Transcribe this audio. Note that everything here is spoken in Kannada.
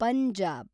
ಪಂಜಾಬ್